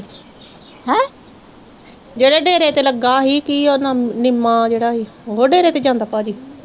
ਜਿਹੜੇ ਡੇਰੇ ਤੇ ਲੱਗਾ ਹੀ ਕੀ ਉਹਦਾ ਨਿੱਮਾ ਜਿਹੜਾ ਹੀ ਓਹੋ ਡੇਰੇ ਤੇ ਜਾਂਦਾ ਭਾਜੀ।